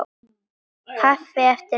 Kaffi eftir messu.